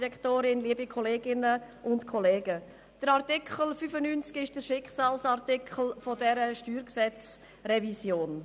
Der Artikel 95 ist der Schicksalsartikel dieser StG-Revision.